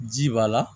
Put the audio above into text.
Ji b'a la